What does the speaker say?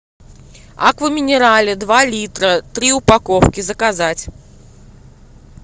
аква минерале два литра три упаковки заказать